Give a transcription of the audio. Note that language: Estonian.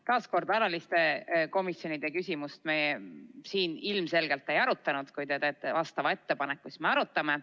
Veel kord: alaliste komisjonide küsimust me seekord ei arutanud, kui te teete vastava ettepaneku, siis me arutame.